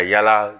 Ka yala